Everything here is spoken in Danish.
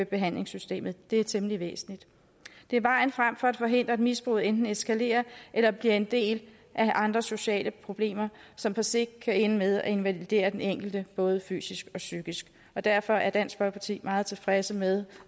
behandlingssystemet det er temmelig væsentligt det er vejen frem for at forhindre at misbruget enten eskalerer eller bliver en del af andre sociale problemer som på sigt kan ende med at invalidere den enkelte både fysisk og psykisk derfor er dansk folkeparti meget tilfreds med